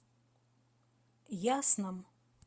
ясном